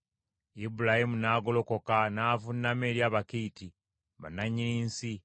Ibulayimu n’agolokoka n’avuunama eri Abakiiti, bannannyini nsi.